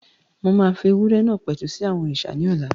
Mo máa fi ewúrẹ́ náà pẹ̀tù sí àwọn òrìṣà náà ní ọ̀la